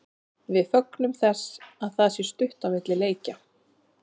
Við fögnum þess að það sé stutt á milli leikja.